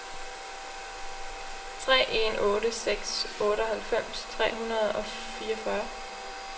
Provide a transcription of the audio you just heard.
tre en otte seks otteoghalvfems tre hundrede og fireogfyrre